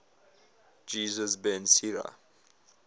jesus ben sira